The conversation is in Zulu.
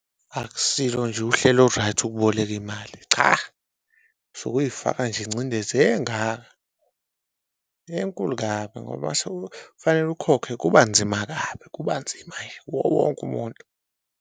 Akusilo nje uhlelo olu-right ukuboleka imali, cha usuke uyifaka nje ingcindezi engaka, enkulu kabi ngoba kufanele ukhokhe kuba nzima kabi kuba nzima nje kuwo wonke umuntu.